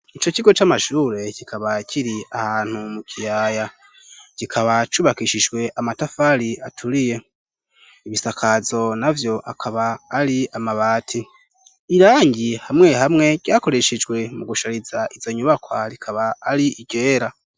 ico kigo c'amashure kikaba kiri ahantu mu kiyaya. Kikaba cubakishijwe amatafari aturiye. Ibisakazo navyo akaba ari amabati. Irangi hamwe hamwe ryakoreshejwe mu gushariza izo nyubakwa rikaba ari iryera.